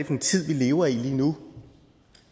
en tid vi lever i lige nu